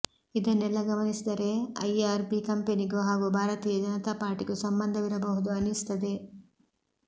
ಇದನ್ನೆಲ್ಲ ಗಮನಿಸಿದರೆ ಐಆರ್ಬಿ ಕಂಪೆನಿಗೂ ಹಾಗೂ ಭಾರತೀಯ ಜನತಾ ಪಾರ್ಟಿಗೂ ಸಂಬಂಧವಿರಬಹುದು ಅನ್ನಿಸುತ್ತದೆ